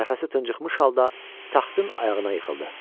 Nəfəsi tıncıxmış halda taxtın ayağına yıxıldı.